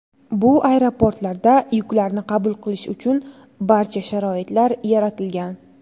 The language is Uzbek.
Bu aeroportlarda yuklarni qabul qilish uchun barcha sharoitlar yaratilgan.